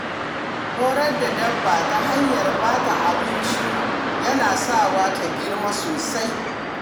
Horar da dabba ta hanyar bata abinci yana sawa ta girma sosai.